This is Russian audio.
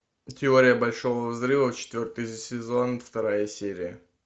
теория большого взрыва четвертый сезон вторая серия